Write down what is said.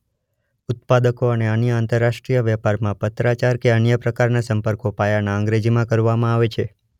ઉત્પાદકો અને અન્ય આંતરરાષ્ટ્રીય વેપારમાં પત્રાચાર કે અન્ય પ્રકારના સંપર્કો પાયાના અંગ્રેજીમાં કરવામાં આવે છે.